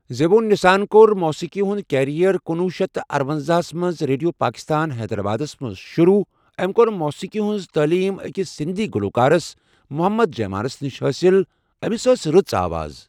زِبُون نِسّاہن کور موٗسیٖقی ہُنٛد کریر کنۄہ شیتھ ارونَزاہ مَنٛز ریڈیو پاکستانس ہیدرآبادس مَنٛز شرو ام کور موٗسیٖقی ہُنٛد تٲلیٖم اکس سندی گلوکارس محمد جیمانس نش حٲصِل امس أس رٕژ آواز.